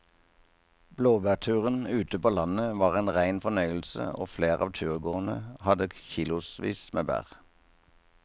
Blåbærturen ute på landet var en rein fornøyelse og flere av turgåerene hadde kilosvis med bær.